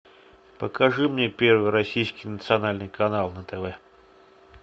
покажи мне первый российский национальный канал на тв